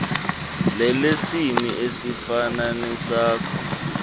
lelesini esifana nesakho